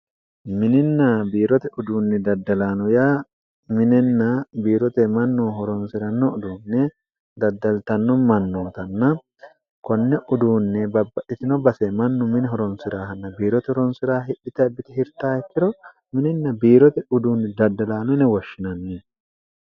mininna biirote uduunni daddalaano ya minenna biirote mannu horonsi'ranno uduunne daddaltanno mannootanna konne uduunne babba itino base mannu mini horonsi'raahanna biirote ronsi'raa hidhita biti hirta ikkiro mininna biirote uduunni daddalaanone woshshinanni